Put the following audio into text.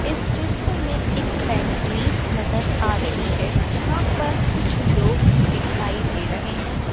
इस चित्र में एक फैक्ट्री नज़र आ रही है जहां पर कुछ लोग भी दिखाई दे रहे हैं।